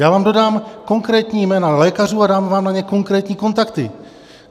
Já vám dodám konkrétní jména lékařů a dám vám na ně konkrétní kontakty.